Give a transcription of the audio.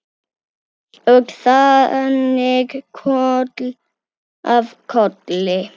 Og þannig koll af kolli.